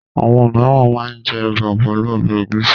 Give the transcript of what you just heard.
Àwọn mìíràn máa ń jẹ ẹ̀bà pẹ̀lú ọbẹ̀ ẹ̀gúsí.